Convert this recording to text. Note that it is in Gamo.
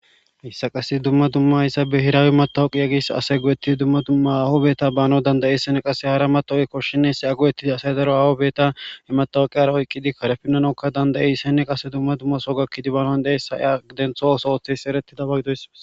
issa qase dumma dumma yssa behirawematawuqiya gis ase gu7etti dumma dumma awobeeta baano dandayessene qase hara matooykkoshineesi ago7ettidi asay daro awo beeta imatawuqiyara oyqqidi karefinanokka dandayisenne qase dumma dumma so gakkidi baanon deeyssa adentho osohothes siereti dabagidoyssmas